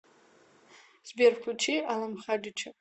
сбер включи алам хадича